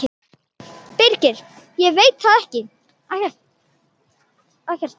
Birgir: Ég veit það ekkert.